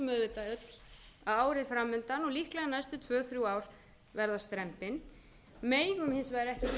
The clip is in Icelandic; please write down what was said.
öll að árið fram undan og líklega næstu tvö til þrjú ár verða strembin við megum hins vegar ekki gleyma því sem vel